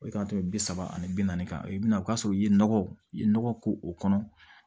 O k'a to bi saba ani bi naani kan i bɛ na o b'a sɔrɔ i ye nɔgɔ i ye nɔgɔ k'o kɔnɔ